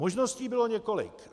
Možností bylo několik.